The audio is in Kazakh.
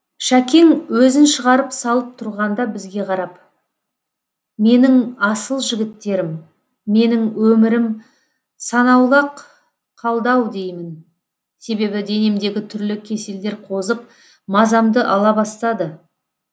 шәкең өзін шығарып салып тұрғанда бізге қарап менің асыл жігіттерім менің өмірім санаулы ақ қалды ау деймін себебі денемдегі түрлі кеселдер қозып мазамды ала бастады